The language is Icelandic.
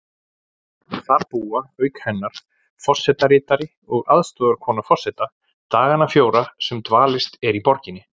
Þar búa auk hennar forsetaritari og aðstoðarkona forseta dagana fjóra sem dvalist er í borginni.